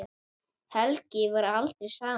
Helgi varð aldrei samur.